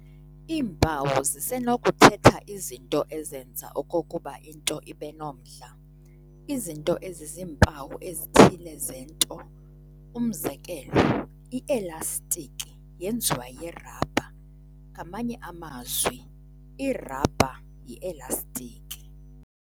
Iimpawu zisenokuthetha izinto ezenza okokuba into ibenomdla- izinto eziziimpawu ezithile zento. umzekelo, "I-Elastiki yenziwa yirhabha", ngamanye amazwi irhabha yielastiki.